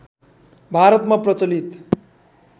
भारतमा प्रचलित